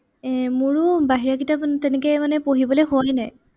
এৰ মোৰো বাহিৰা কিতাপ তেনেকে মানে পঢ়িবলে হোৱাই নাই।